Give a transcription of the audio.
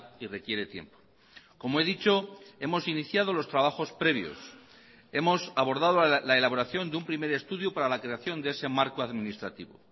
y requiere tiempo como he dicho hemos iniciado los trabajos previos hemos abordado la elaboración de un primer estudio para la creación de ese marco administrativo